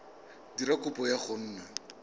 dira kopo ya go nna